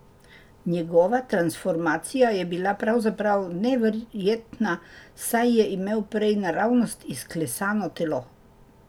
Njegova transformacija je bila pravzaprav neverjetna, saj je imel prej naravnost izklesano telo.